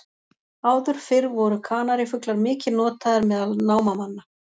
Áður fyrr voru kanarífuglar mikið notaðir meðal námamanna.